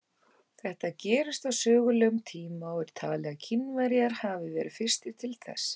Þetta gerist á sögulegum tíma og er talið að Kínverjar hafi verið fyrstir til þess.